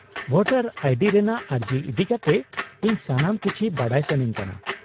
- Voter I D ᱨᱮᱱᱟᱜ ᱟᱹᱨᱡᱤ ᱤᱫᱤᱠᱟᱛᱮ ᱤᱧ ᱥᱟᱱᱟᱢ ᱠᱤᱪᱷᱤ ᱵᱟᱰᱟᱭ ᱥᱟᱹᱱᱟᱹᱧ ᱠᱟᱱᱟ ᱾